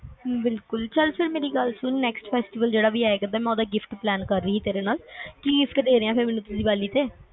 ਹਮ ਬਿਲਕੁਲ ਚਾਕ ਮੇਰੀ ਗੱਲ ਸੁਨ ਹੁਣ ਮੈਂ nextfestival ਜਿਹੜਾ ਵੀ ਆਏਗਾ ਮੈ ਕਰਦੀ ਆ ਫੇਰ ਹੁਣ ਮੈਨੂੰ ਕੀ giftplan ਕਰ ਰਹੀ ਹਾਂ ਤੇਰੇ ਨਾਲ, ਕਿ gift ਦੇ ਰਿਹਾ ਮੈਨੂੰ ਤੂੰ ਦੀਵਾਲੀ ਤੇ